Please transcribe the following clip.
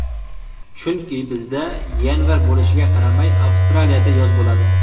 Chunki, bizda yanvar bo‘lishiga qaramay Avstraliyada yoz bo‘ladi.